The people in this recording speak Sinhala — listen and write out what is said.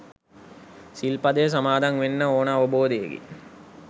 සිල්පදය සමාදන් වෙන්න ඕන අවබෝධයකින්